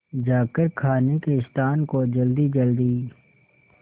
जाकर खाने के स्थान को जल्दीजल्दी